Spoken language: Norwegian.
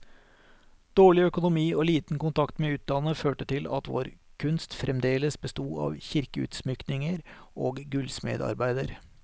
Dårlig økonomi og liten kontakt med utlandet, førte til at vår kunst fremdeles besto av kirkeutsmykninger og gullsmedarbeider.